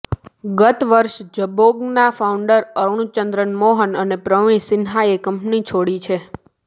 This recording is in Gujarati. ગત વર્ષે જબોંગના ફાઉન્ડર અરૂણ ચંદ્રન મોહન અને પ્રવીણ સિન્હાએ કંપની છોડી છે